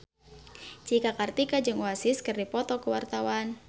Cika Kartika jeung Oasis keur dipoto ku wartawan